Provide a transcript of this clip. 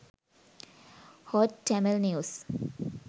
hot tamil news